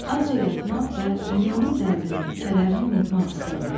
Azca yatmaq və dünyanın dərdini, kədərini unutmaq istədi.